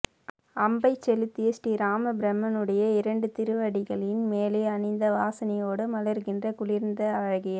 அம்பைச் செலுத்திய ஸ்ரீராமபிரானுடைய இரண்டு திருவடிகளின் மேலே அணிந்த வாசனையோடு மலர்கின்ற குளிர்ந்த அழகிய